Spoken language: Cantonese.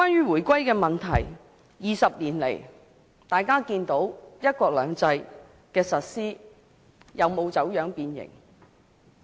回歸20年，相信大家都能看見"一國兩制"的實施有否走樣變形。